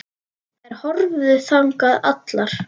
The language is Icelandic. Þær horfðu þangað allar.